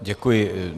Děkuji.